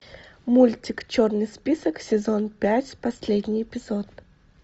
мультик черный список сезон пять последний эпизод